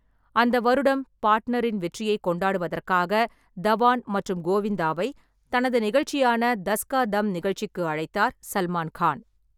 அந்த வருடம் 'பார்ட்னர்'இன் வெற்றியைக் கொண்டாடுவதற்காக தவான் மற்றும் கோவிந்தாவை தனது நிகழ்ச்சியான தஸ் கா தம் நிகழ்ச்சிக்கு அழைத்தார் சல்மான் கான்.